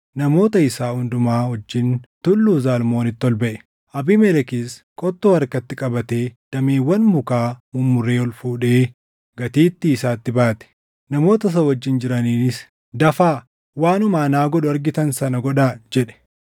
namoota isaa hundumaa wajjin Tulluu Zalmoonitti ol baʼe. Abiimelekis qottoo harkatti qabatee dameewwan mukaa mummuree ol fuudhee gatiittii isaatti baate. Namoota isa wajjin jiraniinis, “Dafaa! Waanuma anaa godhu argitan sana godhaa!” jedhe.